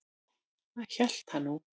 Það hélt hann nú.